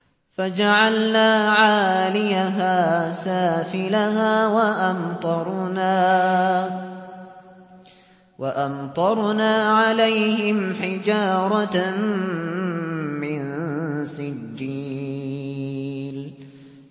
فَجَعَلْنَا عَالِيَهَا سَافِلَهَا وَأَمْطَرْنَا عَلَيْهِمْ حِجَارَةً مِّن سِجِّيلٍ